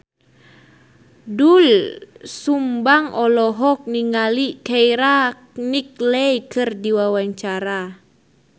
Doel Sumbang olohok ningali Keira Knightley keur diwawancara